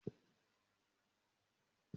Un ó sọ fún ìyá mi kí ó túnmọ̀ àwọn àlọ́ àpamọ́ náà fún mi